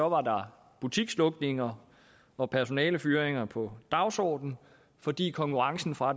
var der butikslukninger og personalefyringer på dagsordenen fordi konkurrencen fra